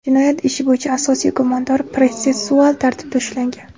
Jinoyat ishi bo‘yicha asosiy gumondor protsessual tartibda ushlangan.